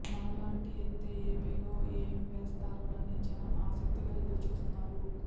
మరలాంటి ఎత్తే ఏపీలో ఏం వేస్తారోనని జనం ఆసక్తిగా ఎదురు చూస్తున్నారు